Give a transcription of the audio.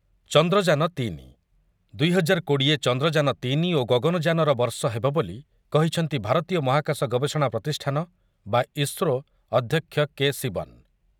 ଚନ୍ଦ୍ରଯାନ ତିନି, ଦୁଇ ହଜାର କୋଡ଼ିଏ ଚନ୍ଦ୍ରଯାନ ତିନି ଓ ଗଗନଯାନର ବର୍ଷ ହେବ ବୋଲି କହିଛନ୍ତି ଭାରତୀୟ ମହାକାଶ ଗବେଷଣା ପ୍ରତିଷ୍ଠାନ ବା ଇସ୍ରୋ ଅଧ୍ୟକ୍ଷ କେ. ଶିବନ ।